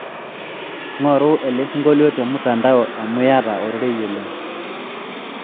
ngoru elesingolio temutandao amuu iyata ororei oleng